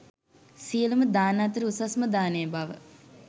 සියලුම දාන අතර උසස්ම දානය බව